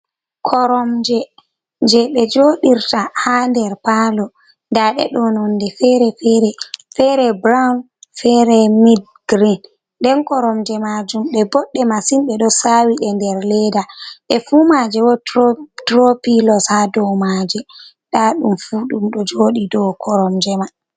Koromje je be joodirta ha der palo. Nɗaɗeɗo nonɗe fere -fere burawn. Fere mid green nden koromje majum bo boɗɗe masin. Be ɗo sawi ɗe nder leeɗa. Ɗe fu maje wotro piloss haɗau maje. Ɗaɗum fu ɗumdo jodi dauvkoromje mai.